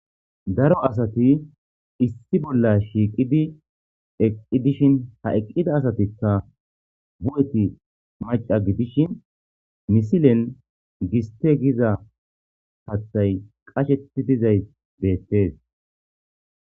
Daro asati issi bolla shiiqidi eqqi dishin ha eqqida asatikka bu7eti maca gidishin misilen giste giza hathay qasheti dizay beettees.